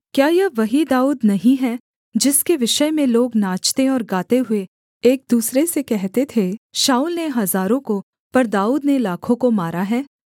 क्या यह वही दाऊद नहीं है जिसके विषय में लोग नाचते और गाते हुए एक दूसरे से कहते थे शाऊल ने हजारों को पर दाऊद ने लाखों को मारा है